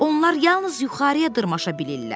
Onlar yalnız yuxarıya dırmaşa bilirlər.